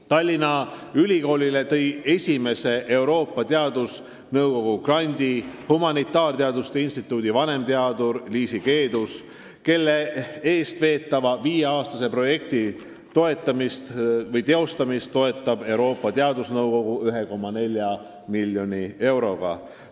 Tallinna Ülikoolile tõi esimese Euroopa Teadusnõukogu grandi humanitaarteaduste instituudi vanemteadur Liisi Keedus, kelle veetava viieaastase projekti teostamist toetab Euroopa Teadusnõukogu 1,4 miljoni euroga.